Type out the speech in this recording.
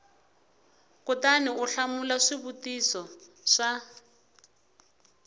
kutani u hlamula swivutiso swa